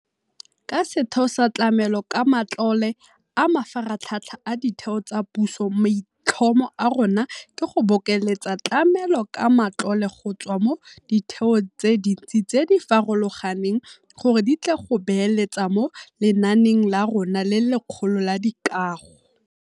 Ka setheo sa Tlamelo ka Matlole a Mafaratlhatlha a Ditheo tsa Puso maitlhomo a rona ke go bokeletsa tlamelo ka matlole go tswa mo ditheong tse dintsi tse di farologaneng gore di tle go beeletsa mo lenaaneng la rona le legolo la dikago.